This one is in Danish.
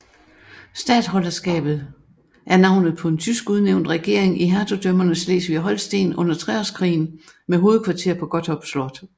Statholderskabet er navnet på en tysk udnævnt regering i hertugdømmerne Slesvig og Holsten under Treårskrigen med hovedkvarter på Gottorp Slot